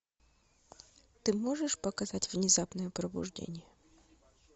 ты можешь показать внезапное пробуждение